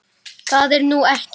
Það er nú ekki.